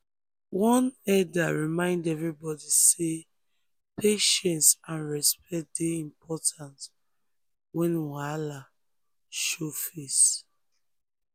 one elder remind everybody say patience and respect dey important when wahala show face.